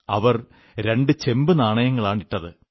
അവർ രണ്ടു ചെമ്പു നാണയങ്ങളാണ് ഇട്ടത്